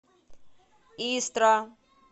истра